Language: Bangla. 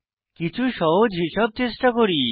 কিছু সহজ হিসাব চেষ্টা করি